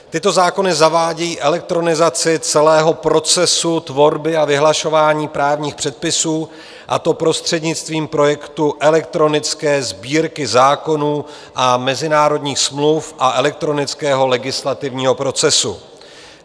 Tyto zákony zavádějí elektronizaci celého procesu tvorby a vyhlašování právních předpisů, a to prostřednictvím projektu elektronické Sbírky zákonů a mezinárodních smluv a elektronického legislativního procesu.